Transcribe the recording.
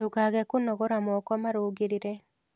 Ndũkage kũnogora moko marũngĩrĩre